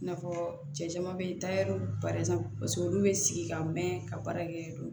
I n'a fɔ cɛ caman bɛ taa yɛriw paseke olu bɛ sigi ka mɛn ka baara kɛ